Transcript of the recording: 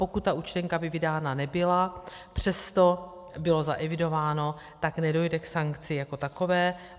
Pokud ta účtenka by vydána nebyla, přesto bylo zaevidováno, tak nedojde k sankci jako takové.